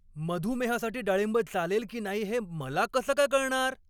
मधुमेहासाठी डाळिंब चालेल की नाही हे मला कसं काय कळणार?